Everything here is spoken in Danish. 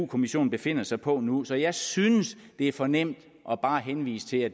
kommissionen befinder sig på nu så jeg synes det er for nemt bare at henvise til at